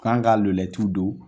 Kan ka lulɛtiw don.